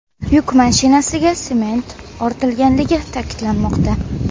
Yuk mashinasiga sement ortilganligi ta’kidlanmoqda.